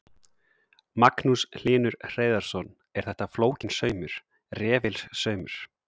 Magnús Hlynur Hreiðarsson: Er þetta flókinn saumur, refilsaumur?